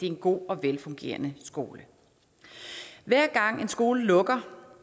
en god og velfungerende skole hver gang en skole lukker